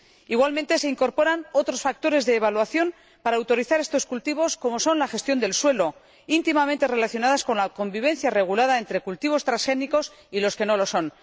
Igualmente se incorporan otros factores de evaluación para autorizar estos cultivos, como son la gestión del suelo, íntimamente relacionados con la convivencia regulada entre cultivos transgénicos y los que no lo son.